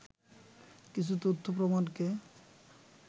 কিছু তথ্য প্রমাণকে